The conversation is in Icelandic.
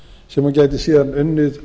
sem hún gæti síðan unnið